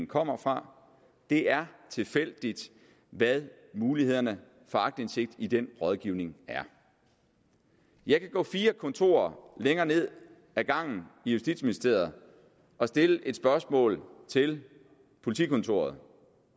kommer fra det er tilfældigt hvad mulighederne for aktindsigt i den rådgivning er jeg kan gå fire kontorer længere ned ad gangen i justitsministeriet og stille et spørgsmål til politikontoret